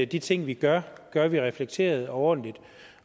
de ting vi gør gør vi reflekteret og ordentligt